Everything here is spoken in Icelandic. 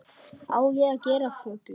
Á ég að gera flugu?